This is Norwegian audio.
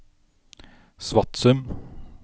Svatsum